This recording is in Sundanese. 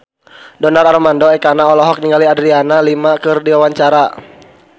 Donar Armando Ekana olohok ningali Adriana Lima keur diwawancara